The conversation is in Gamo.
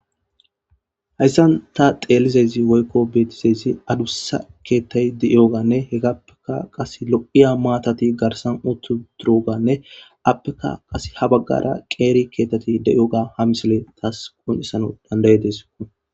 hayssan ta xeelizezi woykko beetizazi adussa keettay de7ioganne hegappeka qas lo7iya maatati garsan uttu duroganne appeka qas ha baggara qeeri keetati de7oga ha misile taas kun7issano dandayedes